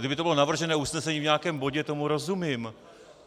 Kdyby to bylo navržené usnesení v nějakém bodě, tomu rozumím.